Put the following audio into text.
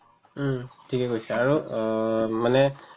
উম, ঠিকে কৈছা আৰু অ মানে